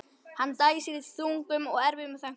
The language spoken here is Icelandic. Hann dæsir í þungum og erfiðum þönkum.